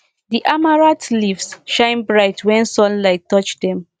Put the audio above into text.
the amaranth leaves shine bright when sunlight touch dem